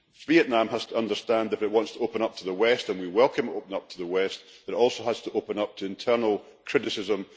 Vietnam has to understand that if it wants to open up to the West and we welcome it opening up to the West it also has to open up to internal criticism.